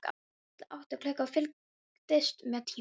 Lilla átti klukku og fylgdist með tímanum.